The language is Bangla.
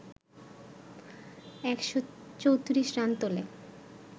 ১৩৪ রান তোলে